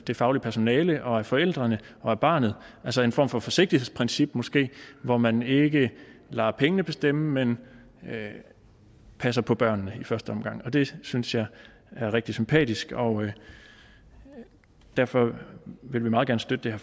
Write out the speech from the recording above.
det faglige personale og af forældrene og barnet altså en form for forsigtighedsprincip måske hvor man ikke lader pengene bestemme men passer på børnene i første omgang det synes jeg er rigtig sympatisk og derfor vil vi meget gerne støtte